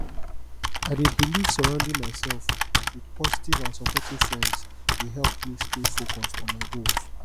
i dey believe surrounding myself with positive and supportive friends dey help me stay focused on my goals